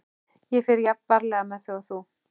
Ég fer jafn varlega með þau og þú.